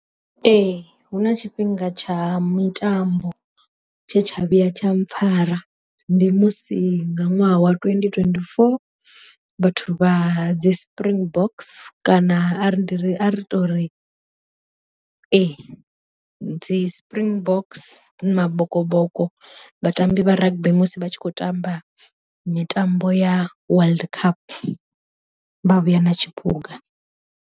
Ee huna tshifhinga tsha mitambo tshe tsha vhuya tsha mpfhara ndi musi nga ṅwaha wa twenty twenty-four, vhathu vha dzi spring box kana a ri ndi ari tori ee dzi spring box mabokoboko vhatambi vha rugby musi vha tshi khou tamba mitambo ya world cup vha vhuya na tshiphuga.